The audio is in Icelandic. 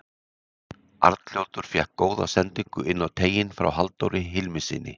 Arnljótur fékk góða sendingu inn á teiginn frá Halldóri Hilmissyni.